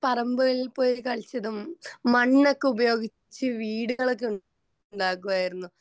പറമ്പുകളിൽ പോയിട്ട് കളിച്ചതും മണ്ണൊക്കെ ഉപയോഗിച് വീടുകളൊക്കെ ഉണ്ടാക്കുമായിരുന്നു